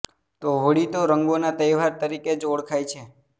તો હોળી તો રંગોના તહેવાર તરીકે જ ઓળખાય છે